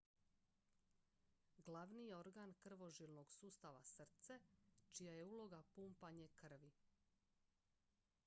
glavni je organ krvožilnog sustava srce čija je uloga pumpanje krvi